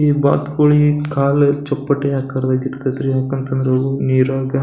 ಈ ಬಾತುಕೋಳಿ ಕಾಲು ಚಪ್ಪಟೆ ಆಕಾರದಲ್ಲಿ ಇರತೈತ್ರಿ ಯಾಕಂತಂದ್ರ ಅವು ನೀರೊಳಗ.